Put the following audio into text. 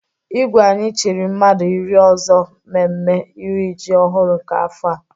Igwe anyị chiri mmadụ iri ọzọ mmemme iri iji ọhụrụ nke afọ a.